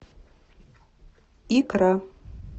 икра